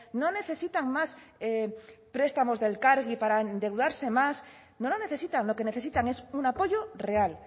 no necesitan más prestamos de elkargi para endeudarse más no la necesitan lo que necesitan es un apoyo real